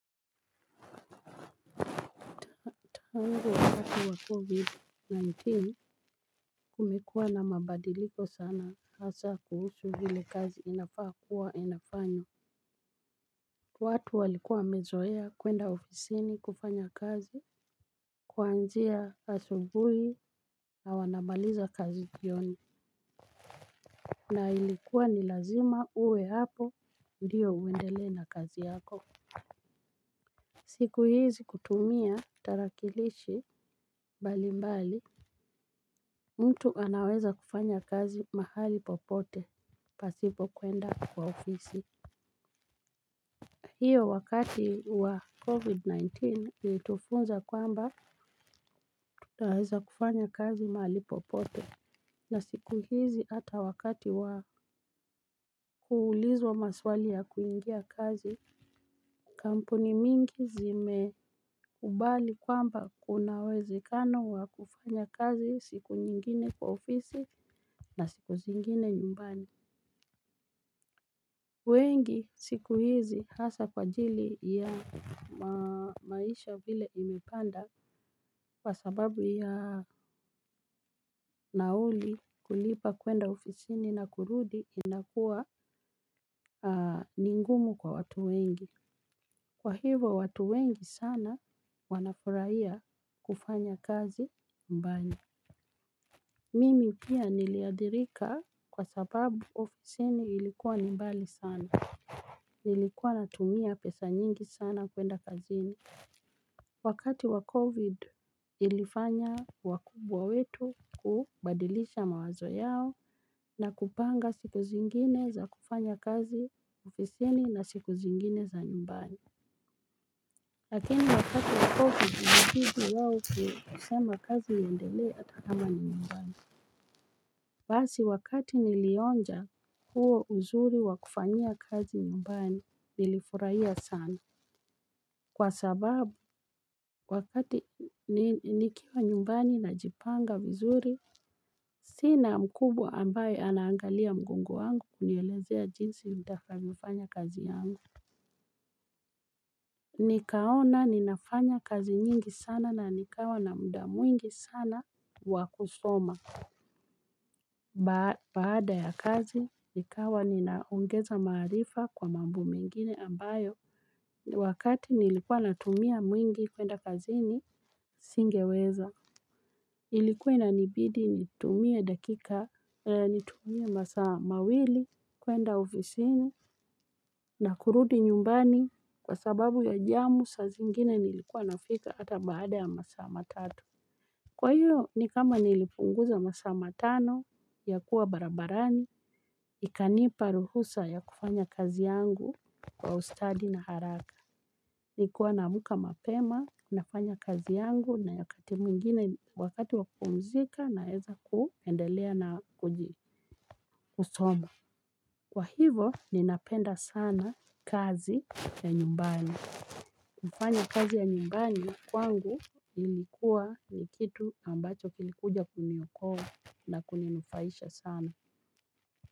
Tangu wakati wa covid-19, kumekuwa na mabadiliko sana, hasa kuhusu vile kazi inafaa kuwa inafanywa. Watu walikuwa wamezoea kwenda ofisini kufanya kazi, kuanzia asubuhi na wanamaliza kazi jioni. Na ilikuwa ni lazima uwe hapo ndio uendelee na kazi yako. Siku hizi kutumia tarakilishi mbali mbali, mtu anaweza kufanya kazi mahali popote pasipo kuenda kwa ofisi. Hio wakati wa COVID-19 ilitufunza kwamba tunaweza kufanya kazi mahali popote. Na siku hizi hata wakati wa kuulizwa maswali ya kuingia kazi kampuni mingi zimekubali kwamba kuna uwezekano wa kufanya kazi siku nyingine kwa ofisi na siku zingine nyumbani. Wengi siku hizi hasa kwa ajili ya maisha vile imepanda. Kwa sababu ya nauli, kulipa kwenda ofisini na kurudi, inakua ni ngumu kwa watu wengi. Kwa hivo, watu wengi sana wanafurahia kufanya kazi nyumbani. Mimi pia niliathirika kwa sababu ofisini ilikuwa ni mbali sana. Nilikuwa natumia pesa nyingi sana kwenda kazini. Wakati wa covid ilifanya wakubwa wetu kubadilisha mawazo yao, na kupanga siku zingine za kufanya kazi ofisini na siku zingine za nyumbani. Lakini wakati wa covid ilibidi waweze kusema kazi iendelea hata kama ni nyumbani. Basi wakati nilionja huo uzuri wa kufanyia kazi nyumbani, nilifurahia sana. Kwa sababu wakati nikiwa nyumbani najipanga vizuri. Sina mkubwa ambaye anaangalia mgongo wangu kunielezea jinsi nitakavyofanya kazi yangu. Nikaona ninafanya kazi nyingi sana na nikawa na muda mwingi sana wa kusoma baada ya kazi nikawa ninaongeza maarifa kwa mambo mengine ambayo wakati nilikuwa natumia mwingi kwenda kazini singeweza ilikuwa inanibidi nitumie dakika, nitumie masaa mawili kwenda ofisini na kuruti nyumbani kwa sababu ya jam saa zingine nilikuwa nafika hata baada ya masaa matatu. Kwa hio, ni kama nilipunguza masaa matano yakuwa barabarani, ikanipa ruhusa ya kufanya kazi yangu kwa ustadi na haraka. Nilikuwa naamka mapema, nafanya kazi yangu na wakati mwingine, wakati wa kupumzika naweza kuendelea na kusoma. Kwa hivo, ninapenda sana kazi ya nyumbani. Kufanya kazi ya nyumbani kwangu ilikuwa ni kitu ambacho kilikuja kuniokoa na kuninufaisha sana.